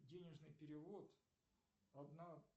денежный перевод одна